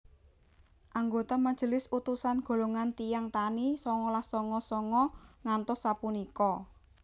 Anggota majelis utusan golongan tiyang tani songolas songo songo ngantos sapunika